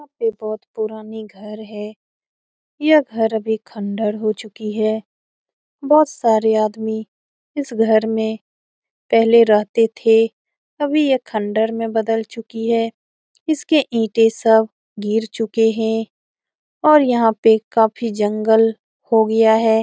यहां पर बहुत पुरानी घर है यह घर अभी खंडार हो चुकी है बहुत सारे आदमी इस घर में पहले रहते थे अभी ये खंडहर में बदल चुकी है इसके ईटे सब गिर चुके हैं और यहां पे काफी जंगल हो गया है।